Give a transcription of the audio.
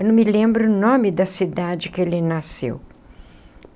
Eu não me lembro o nome da cidade que ele nasceu.